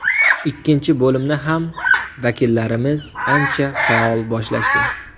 Ikkinchi bo‘limni ham vakillarimiz ancha faol boshlashdi.